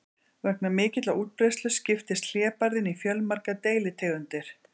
vegna mikillar útbreiðslu skiptist hlébarðinn í fjölmargar deilitegundir